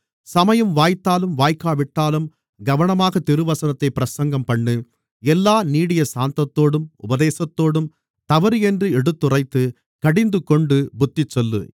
சமயம் வாய்த்தாலும் வாய்க்காவிட்டாலும் கவனமாக திருசனத்தைப் பிரசங்கம்பண்ணு எல்லா நீடிய சாந்தத்தோடும் உபதேசத்தோடும் தவறென்று எடுத்துறைத்து கடிந்துகொண்டு புத்திசொல்லு